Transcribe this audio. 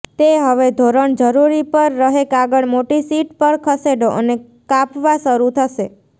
તે હવે ધોરણ જરૂરી પર રહે કાગળ મોટી શીટ પર ખસેડો અને કાપવા શરૂ થશે